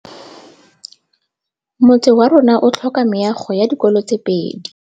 Motse warona o tlhoka meago ya dikolô tse pedi.